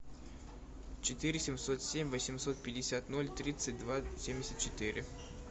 четыре семьсот семь восемьсот пятьдесят ноль тридцать два семьдесят четыре